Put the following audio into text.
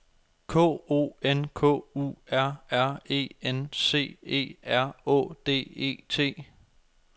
K O N K U R R E N C E R Å D E T